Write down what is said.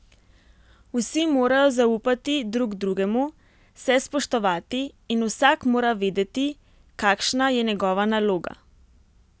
Vsi morajo zaupati drug drugemu, se spoštovati in vsak mora vedeti, kakšna je njegova naloga.